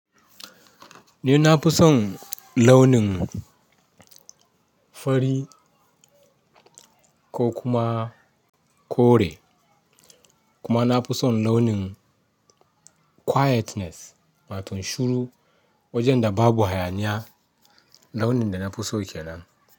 Ni na fi son launin fari ko kuma kore kuma na fi son launin quietness ma tun shuru wajen da babu hayaniya launin da na fi so kenan.